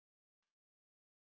Þorir ekki að vera glöð.